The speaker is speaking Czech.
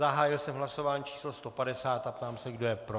Zahájil jsem hlasování číslo 150 a ptám se, kdo je pro.